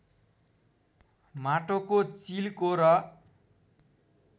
माटोको चिलको र